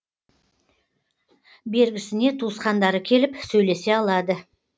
бергісіне туысқандары келіп сөйлесе алады